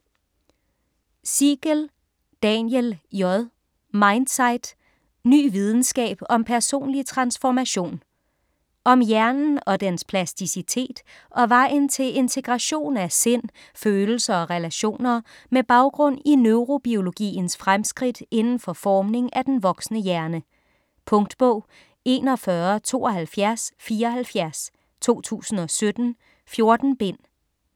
Siegel, Daniel J.: Mindsight: ny videnskab om personlig transformation Om hjernen og dens plasticitet og vejen til integration af sind, følelser og relationer, med baggrund i neurobiologiens fremskridt inden for formning af den voksne hjerne. Punktbog 417274 2017. 14 bind.